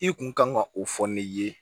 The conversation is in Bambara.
I kun kan ka o fɔ ne ye